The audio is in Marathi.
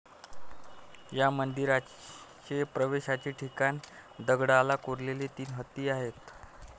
या मंदिराचे प्रवेशाचे ठिकाणी दगडाल कोरलेले तीन हत्ती आहेत.